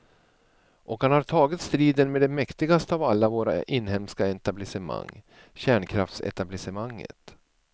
Och han har tagit striden med det mäktigaste av alla våra inhemska etablissemang, kärnkraftsetablissemanget.